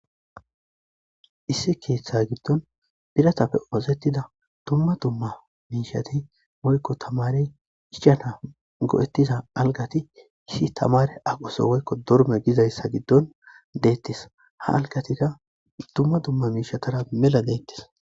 ssi keeththa giddon piratapfe oozettida dumma dumma miishati moykko tamare ichana go'ettiza algati issi tamare aqoso woykko dorme gizayssa giddon deettis ha algatika dumma dumma miishatara mela deettis.